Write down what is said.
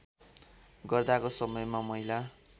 गर्दाको समयमा महिला